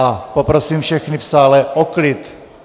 A poprosím všechny v sále o klid!